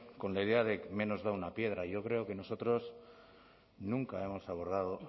con la idea de menos da una piedra y yo creo que nosotros nunca hemos abordado